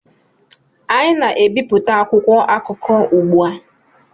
anyị na-ebipụta akwụkwọ akụkọ ugbu a